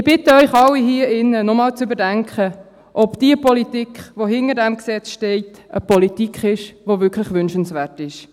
Ich bitte Sie alle hier drin, nochmals zu überdenken, ob diese Politik, die hinter diesem Gesetz steht, eine Politik ist, die wirklich wünschenswert ist.